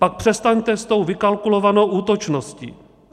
Pak přestaňte s tou vykalkulovanou útočností.